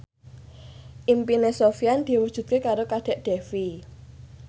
impine Sofyan diwujudke karo Kadek Devi